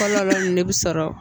Kɔlɔ de bi sɔrɔ